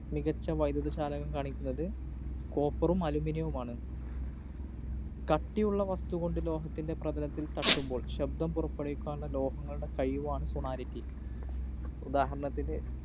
മികച്ച വൈദ്യുത ചാലകം കാണിക്കുന്നത് copper ഉം aluminum വുമാണ്. കട്ടിയുള്ള വസ്തുകൊണ്ട് ലോഹത്തിൻ്റെ പ്രതലത്തില്‍ തട്ടുമ്പോള്‍ ശബ്ദം പുറപ്പെടുവിക്കാനുള്ള ലോഹങ്ങളുടെ കഴിവാണ് sonority. ഉദാഹരണത്തിന്